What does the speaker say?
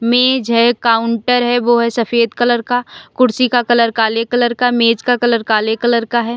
मेज है काउंटर है वो है सफेद कलर का कुर्सी का कलर काले कलर का मेज़ का कलर काले कलर का है।